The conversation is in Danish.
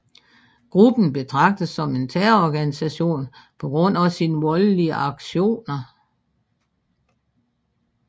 Gruppen betrages som en terrororganisation på grund af sin voldelige aktioner